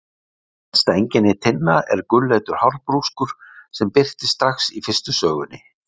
Eitt helsta einkenni Tinna er gulleitur hárbrúskur sem birtist strax í fyrstu sögunni.